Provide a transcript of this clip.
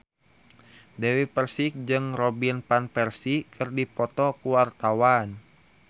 Dewi Persik jeung Robin Van Persie keur dipoto ku wartawan